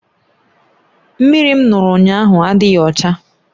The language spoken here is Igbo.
Mmiri m ṅụrụ ụnyahụ adịghị ọcha